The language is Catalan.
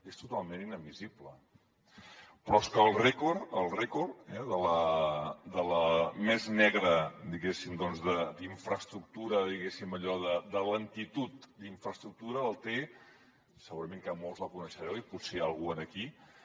és totalment inadmissible però és que el rècord el rècord de la més negra diguéssim infraestructura allò de lentitud d’infraestructura el té segurament que molts la coneixereu i potser hi ha algú aquí